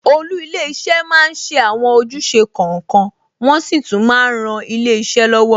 Olú ilé iṣẹ́ máa ń ṣe àwọn ojúṣe kọ̀ọ̀kan, wọn sì tún máa ń ran ilé iṣẹ́ lọ́wọ́.